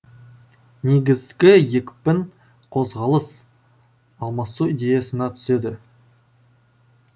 негізгі екпін қозғалыс алмасу идеясына түседі